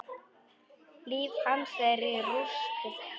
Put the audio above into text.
Líf hans er í rúst.